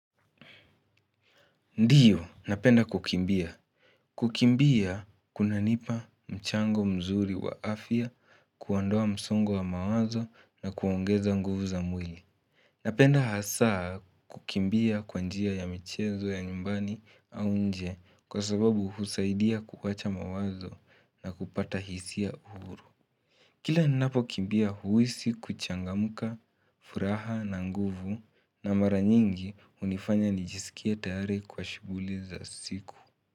Ndiyo, napenda kukimbia. Kukimbia, kunanipa mchango mzuri wa afya kuondoa msongo wa mawazo na kuongeza nguvu za mwili. Napenda hasaa kukimbia kwa njia ya michezo ya nyumbani au nje kwa sababu husaidia kuwacha mawazo na kupata hisia huru. Kila ninapokimbia huisi kuchangamuka, furaha na nguvu na mara nyingi hunifanya nijisikie tayari kwa shughuli za siku.